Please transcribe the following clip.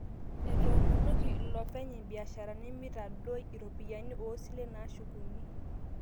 Etoomonoki iloopeny' imbiasharani mitadoi iropiyiani oosilen naashukuni